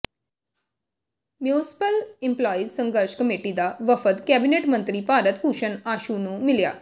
municipal employees ਸੰਘਰਸ਼ committee ਦਾ ਵਫ਼ਦ ਕੈਬਨਿਟ ਮੰਤਰੀ ਭਾਰਤ ਭੂਸ਼ਨ ਆਸ਼ੂ ਨੂੰ ਮਿਲਿਆ